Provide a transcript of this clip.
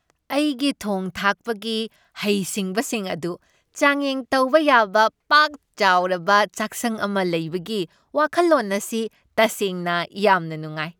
ꯑꯩꯒꯤ ꯊꯣꯡ ꯊꯥꯛꯄꯒꯤ ꯍꯩꯁꯤꯡꯕꯁꯤꯡ ꯑꯗꯨ ꯆꯥꯡꯌꯦꯡ ꯇꯧꯕ ꯌꯥꯕ ꯄꯥꯛ ꯆꯥꯎꯔꯕ ꯆꯥꯛꯁꯪ ꯑꯃ ꯂꯩꯕꯒꯤ ꯋꯥꯈꯜꯂꯣꯟ ꯑꯁꯤ ꯇꯁꯦꯡꯅ ꯌꯥꯝꯅ ꯅꯨꯡꯉꯥꯏ꯫